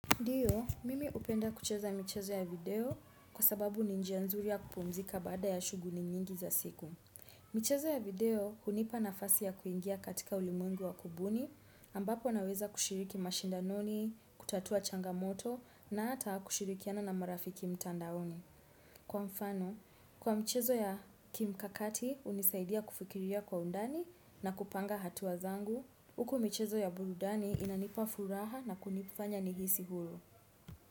Ndiyo, mimi hupenda kucheza michezo ya video kwa sababu ni njia nzuri ya kupumzika bada ya shughuli nyingi za siku. Michezo ya video hunipa nafasi ya kuingia katika ulimungu wa kubuni, ambapo naweza kushiriki mashindanoni, kutatua changamoto na hata kushirikiana na marafiki mtandaoni. Kwa mfano, kwa michezo ya kimkakati, hunisaidia kufikiria kwa undani na kupanga hatua zangu. Huku michezo ya burudani inanipa furaha na kunifanya nihisi huru.